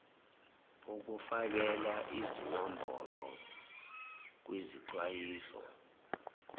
ukufakela izinombolo kwizixwayiso